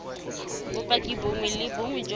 bopaki bongwe le bongwe jo